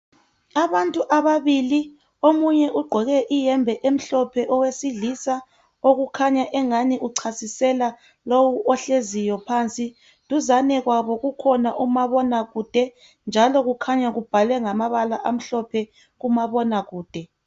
Abantu ababili, omunye ugqoke iyembe emhlophe owesilisa okukhanya engani uchasisela lowu ohleziyo phansi. Duzane kwabo kukhona umabonakude njalo kukhanya ubhalwe ngamabala amhlophe umabonakude.